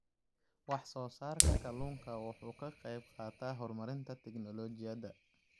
Wax-soo-saarka kalluunku wuxuu ka qaybqaataa horumarinta tignoolajiyada.